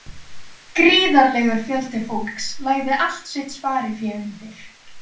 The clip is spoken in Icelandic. Gríðarlegur fjöldi fólks lagði allt sitt sparifé undir.